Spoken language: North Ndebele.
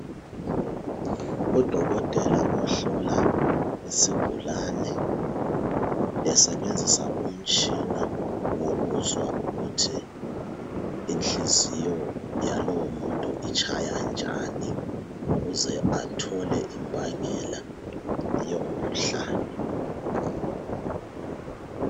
Udokotela ohlola isigulane besebenzisa umtshina wokuzwa ukuthi inhliziyo yalomuntu itshaya njani ukuze athole imbangela yomkhuhlane.